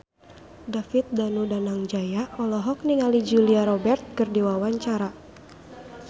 David Danu Danangjaya olohok ningali Julia Robert keur diwawancara